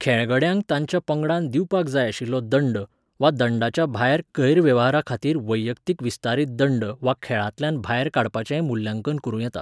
खेळगड्यांक तांच्या पंगडान दिवपाक जाय आशिल्लो दंड, वा दंडाच्या भायर गैरवेव्हाराखातीर वैयक्तीक विस्तारीत दंड वा खेळांतल्यान भायर काडपाचेंय मुल्यांकन करूं येता.